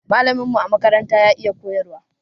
Malamin mu a makaranta ya iya koyarwa